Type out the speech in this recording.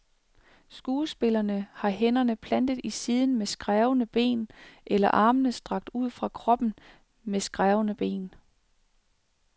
Skuespillerne har hænderne plantet i siden med skrævende ben, eller armene strakt ud fra kroppen med skrævende ben.